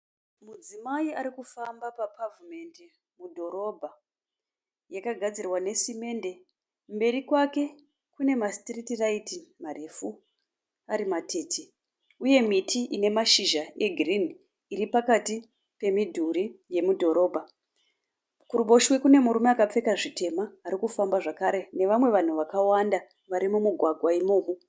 Mudzimai arikufamba papavhumendi mudhorobha yakagadzirwa nesemende. Mberi kwake kune masitiriti rayiti marefu ari matete uye miti ine mashizha egirinhi iri pakati pemidhuri yemudhorobha. Kuruboshwe kune murume akapfeka zvitema arikufamba zvakare nevamwe vanhu varikufamba mumugwagwa imomo.